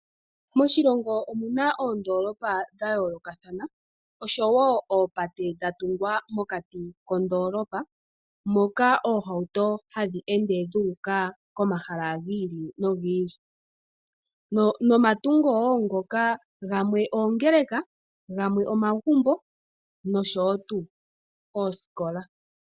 Moshilongo omuna oondoolopa dhayoolokathana osho wo oopate dhatungwa mokati koondoolopa moka omahauto haga ende guuka komahala gi ili nogi ili, nomatungo wo ngoka gamwe oongeleka, gamwe omagumbo nosho wo tuu oosikola.